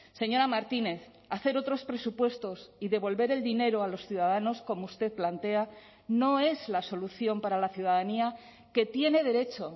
señora martínez hacer otros presupuestos y devolver el dinero a los ciudadanos como usted plantea no es la solución para la ciudadanía que tiene derecho